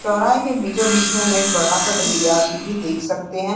चौराहे के बीचों -बीच में हम एक बड़ा- सा घड़ियाल भी देख सकते हैं।